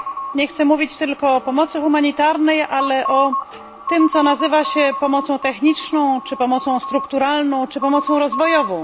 Nie chcę mówić tylko o pomocy humanitarnej, ale o tym, co nazywa się pomocą techniczną, czy strukturalną lub rozwojową.